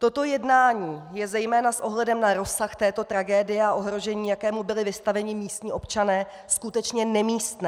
Toto jednání je zejména s ohledem na rozsah této tragédie a ohrožení, jakému byli vystaveni místní občané, skutečně nemístné.